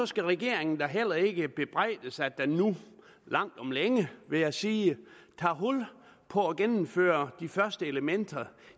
skal regeringen da heller ikke bebrejdes at den nu langt om længe vil jeg sige tager hul på at gennemføre de første elementer